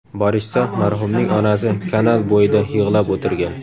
Borishsa, marhumning onasi kanal bo‘yida yig‘lab o‘tirgan.